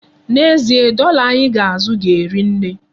N'ezie, dọla anyị ga-azụ ga-eri nne.